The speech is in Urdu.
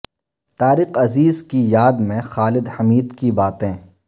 طارق عزیز کی یاد میں خالد حمید کی باتیں